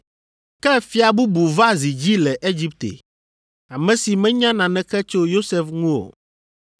Ke ‘fia bubu va zi dzi le Egipte, ame si menya naneke tso Yosef ŋu o.’